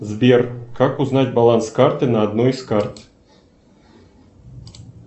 сбер как узнать баланс карты на одной из карт